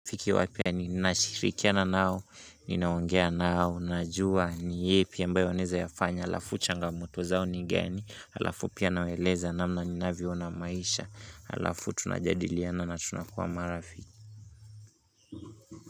Fiki wapia nini nashirikiana nao, ninaongea nao, najua ni yepi ambayo wanaeza yafanya, alafu changamto zao ni gani, alafu pia nawaeleza namna ninavyoona maisha, alafu tunajadiliana nao na tunakuwa marafiki.